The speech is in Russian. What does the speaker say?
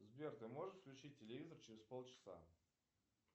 сбер ты можешь включить телевизор через полчаса